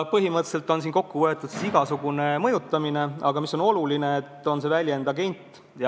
" Põhimõtteliselt on siin kokku võetud igasugune mõjutamine, aga oluline on just see sõna "agent".